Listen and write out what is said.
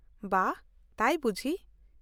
ᱼᱵᱟᱦ, ᱛᱟᱭ ᱵᱩᱡᱷᱤ ?